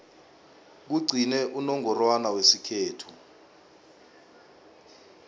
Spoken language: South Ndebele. kugcine unongorwana wesikhethu